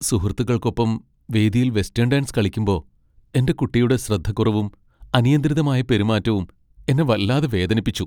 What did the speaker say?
സുഹൃത്തുക്കൾക്കൊപ്പം വേദിയിൽ western dance കളിക്കുമ്പോ എന്റെ കുട്ടിയുടെ ശ്രദ്ധക്കുറവും അനിയന്ത്രിതമായ പെരുമാറ്റവും എന്നെ വല്ലാതെ വേദനിപ്പിച്ചു.